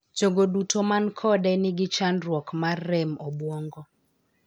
Jogo duto man kode ni gi chandruok mar rem obuongo.